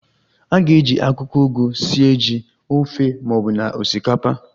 A ga-eji akwụkwọ ugu sie ji, ofe ma ọbụna osikapa